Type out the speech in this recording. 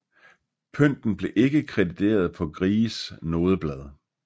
Pynten blev ikke krediteret på Gries nodeblad